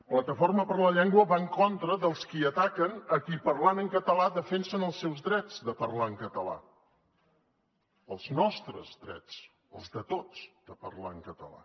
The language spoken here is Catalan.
plataforma per la llengua va en contra dels qui ataquen a qui parlant en català defensen els seus drets de parlar en català els nostres drets els de tots de parlar en català